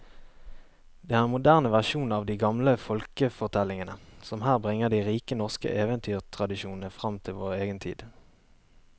Det er en moderne versjon av de gamle folkefortellingene som her bringer de rike norske eventyrtradisjoner fram til vår egen tid.